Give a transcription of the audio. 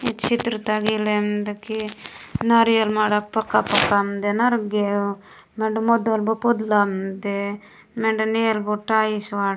ई चित्र तगा ईलेन मेन्दे की नारियल माडा पका - पका मेन्दे नरगेउ मेंडे मदलू पुदला मेन्दे मेंडे नेलु टाइल्स वाट --